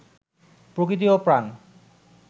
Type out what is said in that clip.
প্রকৃতি ও প্রাণ